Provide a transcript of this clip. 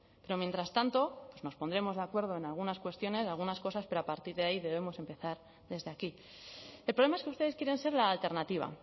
pero mientras tanto pues nos pondremos de acuerdo en algunas cuestiones algunas cosas pero a partir de ahí debemos empezar desde aquí el problema es que ustedes quieren ser la alternativa